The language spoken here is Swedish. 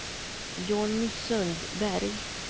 Johnny Sundberg